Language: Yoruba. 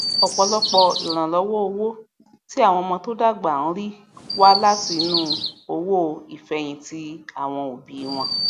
ọpọlọpọ ìrànlọwọ owó tí àwọn ọmọ tó dàgbà ń rí wá láti inú owó ìfẹyìntì àwọn òbí wọn